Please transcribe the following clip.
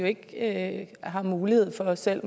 ikke har mulighed for at selv